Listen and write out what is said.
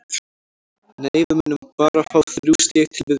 Nei, við munum bara fá þrjú stig til viðbótar.